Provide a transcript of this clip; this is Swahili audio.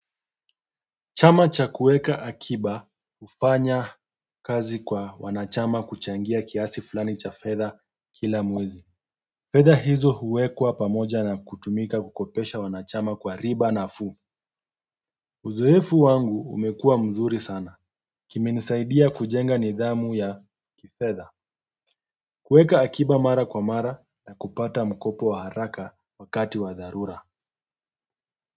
Chama cha kuweka akiba hufanya kazi kwa wanachama kuchangia kiasi fulani cha fedha kila mwezi. Fadha hizo huwekwa pamoja na kutumika kukopesha wanachama kwa riba nafuu uzoefu wangu umekuwa mzuri sana. Kimenisaidia kujenga nidhamu ya kifedha kuweka akiba mara kwa mara na kupata mkopo wa haraka wakati wa dharura.